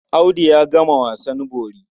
Audu ya gama wasan bori.